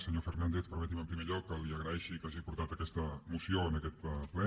senyor fernàndez permeti’m en primer lloc que li agraeixi que hagi portat aquesta moció en aquest ple